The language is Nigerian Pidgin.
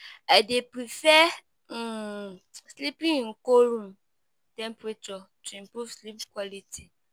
I dey prefer um sleeping in cool room temperature to improve sleep quality.